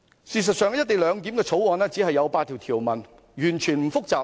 事實上，《條例草案》只有8項條文，絕不複雜。